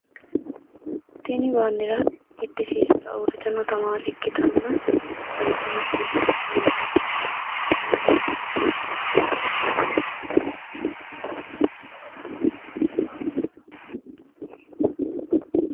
Tini baandeerra giddisiissara uurritino tamaare ikkitanna seejjo macciishshitanni noo tamaareeti.